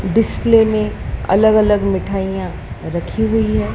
Display में अलग-अलग मिठाइयां रखी हुई है।